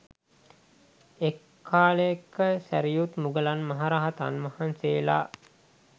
එක් කාලයක සැරියුත් මුගලන් මහරහතන් වහන්සේලා